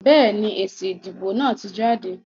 Béèni, èsì ìdìbò náà ti jáde